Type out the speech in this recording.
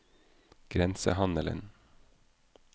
grensehandelen